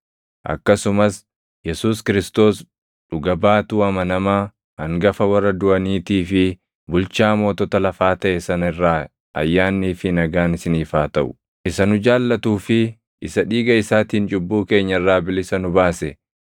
akkasumas Yesuus Kiristoos dhuga baatuu amanamaa, hangafa warra duʼaniitii fi bulchaa mootota lafaa taʼe sana irraa ayyaannii fi nagaan isiniif haa taʼu. Isa nu jaallatuu fi isa dhiiga isaatiin cubbuu keenya irraa bilisa nu baase,